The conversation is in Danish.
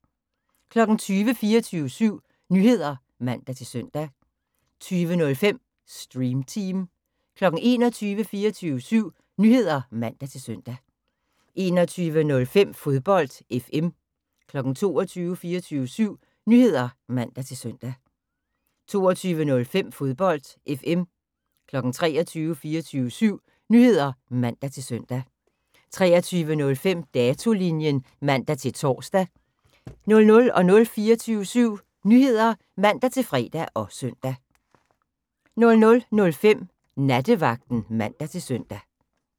20:00: 24syv Nyheder (man-søn) 20:05: Stream Team 21:00: 24syv Nyheder (man-søn) 21:05: Fodbold FM 22:00: 24syv Nyheder (man-søn) 22:05: Fodbold FM 23:00: 24syv Nyheder (man-søn) 23:05: Datolinjen (man-tor) 00:00: 24syv Nyheder (man-fre og søn) 00:05: Nattevagten (man-søn)